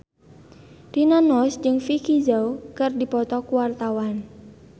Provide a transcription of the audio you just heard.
Rina Nose jeung Vicki Zao keur dipoto ku wartawan